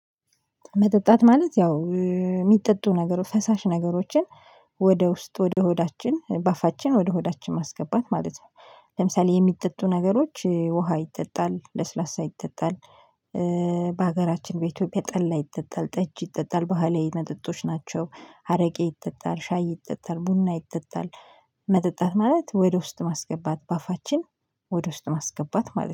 መጠጣት ማለት ያው የሚጠጡ ነገሮች ፈሳሽ ነገሮችን ወደ ውስጥ ወደ ሆዳችን ባፋችን ወደ ሆዳችን ማስገባት ማለት ነው። ለምሳሌ የሚጠጡ ነገሮች ውሃ ይጠጣል፣ ለስላሳ ይጠጣል፣ በሀገራችን በኢትዮጵያ ጠላ ይጠጣል፣ ጠጅ ይጠጣል፣ ባህላዊ የመጠጦች ናቸው። አረቄ ይጠጣል፣ ሻይ ይጠጣል፣ ቡና ይጠጣል፣ መጠጣት ማለት ወደ ውስጥ ማስገባት በአፋችን ወደ ውስጥ ማስገባት ማለት ነው።